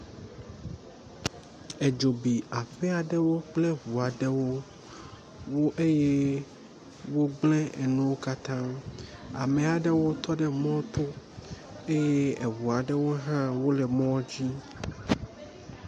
Edzo bi aƒe aɖewo kple ŋu aɖewo eye wogble enuwo katã. Ame aɖewo tɔ ɖe emɔ to eye eŋu aɖewo hã wo le mɔa dzi.